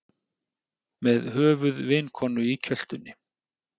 Með höfuð vinkonu í kjöltunni